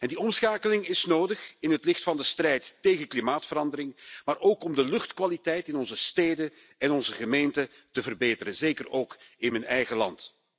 Die omschakeling is nodig in het licht van de strijd tegen klimaatverandering, maar ook om de luchtkwaliteit in onze steden en gemeenten te verbeteren, zeker ook in mijn eigen land.